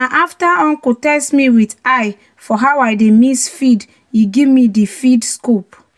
"na after uncle test me with eye for how i dey mix feed e give me di feed scoop."